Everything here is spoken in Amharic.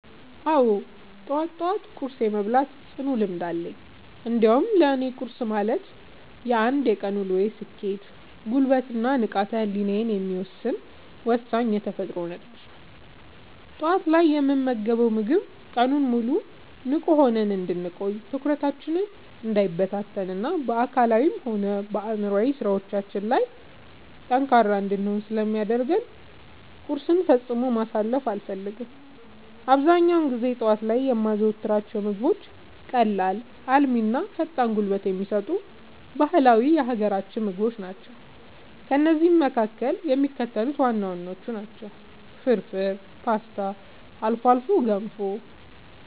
አዎ፣ ጠዋት ጠዋት ቁርስ የመብላት ጽኑ ልምድ አለኝ። እንዲያውም ለእኔ ቁርስ ማለት የአንድ ቀን ውሎዬን ስኬት፣ ጉልበት እና ንቃተ ህሊናዬን የሚወሰን ወሳኝ የተፈጥሮ ነዳጅ ነው። ጠዋት ላይ የምንመገበው ምግብ ቀኑን ሙሉ ንቁ ሆነን እንድንቆይ፣ ትኩረታችን እንዳይበታተን እና በአካላዊም ሆነ በአእምሯዊ ስራዎቻችን ላይ ጠንካራ እንድንሆን ስለሚያደርገን ቁርስን ፈጽሞ ማሳለፍ አልፈልግም። አብዛኛውን ጊዜ ጠዋት ላይ የማዘወትራቸው ምግቦች ቀላል፣ አልሚ እና ፈጣን ጉልበት የሚሰጡ ባህላዊ የሀገራችንን ምግቦች ናቸው። ከእነዚህም መካከል የሚከተሉት ዋና ዋናዎቹ ናቸው፦ ፍርፍር: ፖስታ: አልፎ አልፎ ገንፎ